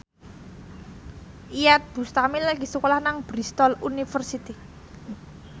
Iyeth Bustami lagi sekolah nang Bristol university